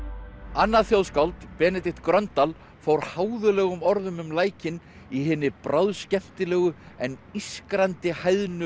annað þjóðskáld Benedikt Gröndal fór háðulegum orðum um lækinn í hinni bráðskemmtilegu en ískrandi